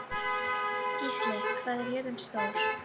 Gísli, hvað er jörðin stór?